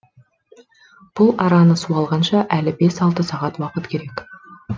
бұл араны су алғанша әлі бес алты сағат уақыт керек